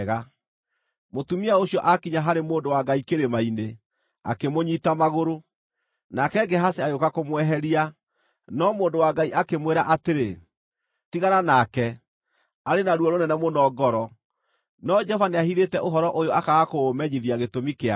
Mũtumia ũcio aakinya harĩ mũndũ wa Ngai kĩrĩma-inĩ, akĩmũnyiita magũrũ. Nake Gehazi agĩũka kũmweheria, no mũndũ wa Ngai akĩmwĩra atĩrĩ, “Tigana nake! Arĩ na ruo rũnene mũno ngoro, no Jehova nĩahithĩte ũhoro ũyũ akaaga kũũmenyithia gĩtũmi kĩa guo.”